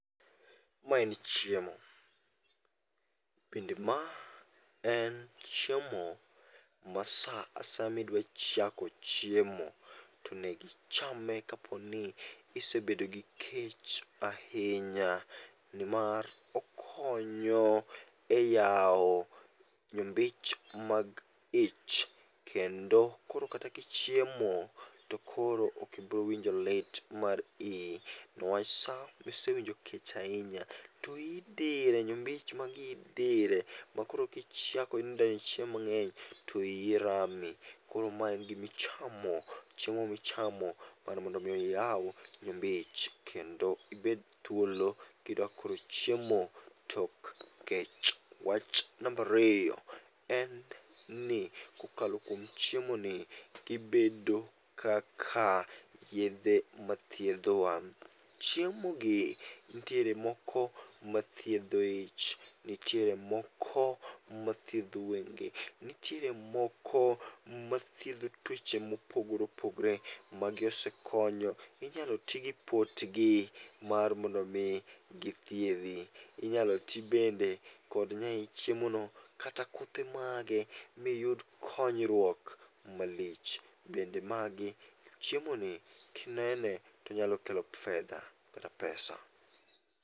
Ma en chiemo, bende ma en chiemo ma sa asaya ma idwa chako chiemo tonegichame kaponi isebedo gi kech ahinya. Ni mar okonyo e yawo nyimbich mag ich kendo koro kata kichiemo to koro okibrowinjo lit mar ii. Niwach sa misewinjo kech ahinya to ii dire, nyombich mag ii dire, makoro kichako nidenyo chiemo mang'eny to ii rami. Koro ma en gimi chamo, chiemo michamo mar mondo mi iyaw nyimbich kendo ibed thuolo kidwakelo chiemo tok kech. Wach nambariyo en ni kokalo kuom chiemo ni gibedo kaka yedhe mathidhowa. Chiemo gi nitiere moko mathiedho ich, nitiere moko mathiedho wenge, nitiere moko mathiedho tuoche mopogore opogore. Magi osekonyo, inyalo ti gi potgi mar mondo mi githiedhi. Inyalo ti bende kod nyai chieo no kata kothe mage miyud konyruok malich. Bende magi, chiemo ni kinene tonyalo kelo fedha kata pesa.